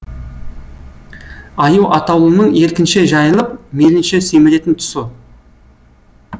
аю атаулының еркінше жайылып мейлінше семіретін тұсы